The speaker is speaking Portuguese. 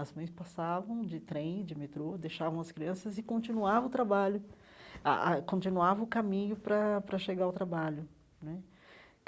As mães passavam de trem, de metrô, deixavam as crianças e continuava o trabalho, ah ah continuava o caminho para para chegar ao trabalho né.